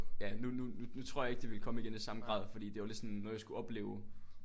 Ja nu nu nu tror jeg ikke det ville komme igen i samme grad fordi det var lidt sådan noget jeg skulle opleve